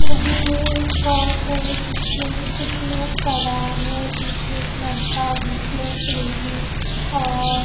नदी में एक बोट है जिसमें कुछ लोग सवार हैं पीछे एक लड़का बीच में एक लेडी और--